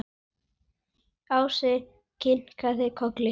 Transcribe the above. Ási kinkaði kolli.